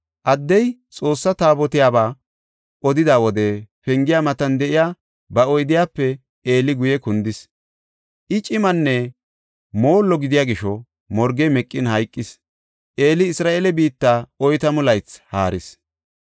Addey Xoossa Taabotiyabaa odida wode pengiya matan de7iya ba oydiyape Eeli guye kundis. I cimanne moollo gidiya gisho morgey meqin hayqis. Eeli Isra7eele biitta oytamu laythi haaris.